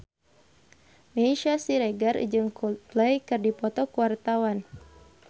Meisya Siregar jeung Coldplay keur dipoto ku wartawan